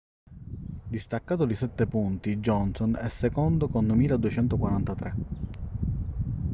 distaccato di sette punti johnson è secondo con 2.243